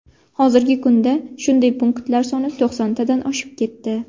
Hozirgi kunda shunday punktlar soni to‘qsontadan oshib ketdi.